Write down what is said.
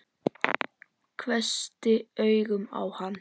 Hvessti augun á hann.